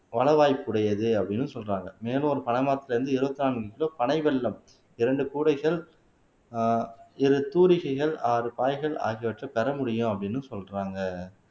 பல வாய்ப்புடையது அப்படின்னு சொல்றாங்க மேலும் ஒரு பனை மரத்துல இருந்து எழுபத்து நான்கு கிலோ பனைவெல்லம் இரண்டு கூடைகள் ஆஹ் இரு தூரிகைகள் ஆறு பாய்கள் ஆகியவற்றை பெற முடியும் அப்படின்னு சொல்றாங்க